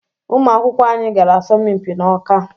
Ụmụ akwụkwọ anyị gara asọmpi n’Ọká